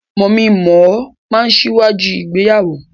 Mọmí mọ̀ọ́ máa n síwájú ìgbéyàwó.